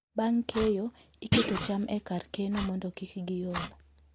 Bang' keyo, iketo cham e kar keno mondo kik giol.